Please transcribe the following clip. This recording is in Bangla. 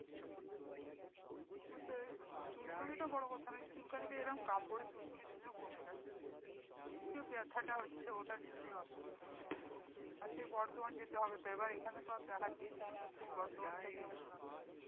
চুলকানিটা বড়ো কথা নই চুলকানিতে এইরম কাপড়ের সুড়সুড়ি দিলেও কমে যাই কিন্তু ওইযে ব্যাথাটা হচ্ছে ওটার জন্যই অসুবিধা আজকে বর্ধমান যাতে হবে তো এবার এইখানে তো আর দেখাচ্ছি না সেই বর্ধমান থেকে ওষুধ আনতে হবে